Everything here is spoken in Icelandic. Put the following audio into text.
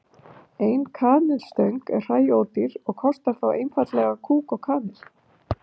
Ein kanilstöng er hræódýr og kostar þá einfaldlega kúk og kanil.